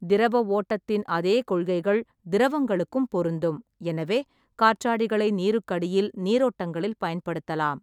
திரவ ஓட்டத்தின் அதே கொள்கைகள் திரவங்களுக்கும் பொருந்தும், எனவே காற்றாடிகளை நீருக்கடியில் நீரோட்டங்களில் பயன்படுத்தலாம்.